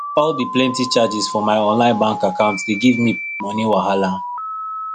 all the plenty charges for my online bank account dey give me money wahala